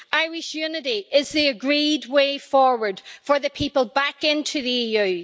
Irish unity is the agreed way forward for the people back into the EU.